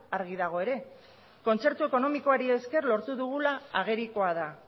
argi dago ere kontzertu ekonomikoari esker lortu dugula agerikoa da